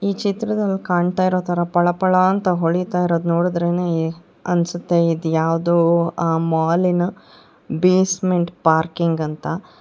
ಈ ಚಿತ್ರದಲ್ಲಿ ಕಾಣುತ್ತಿರುವ ತರ ಪಳ ಪಳ ಅಂತ ಹೊಳೆಯುತ್ತಿರುವ ನೋಡಿದ್ರೇನೇ ಅನ್ಸುತ್ತೆ ಇದ್ಯಾವುದೋ ಮಾಲಿ ನ ಬೇಸ್ಮೆಂಟ್ ಪಾರ್ಕಿಂಗ್ ಅಂತ.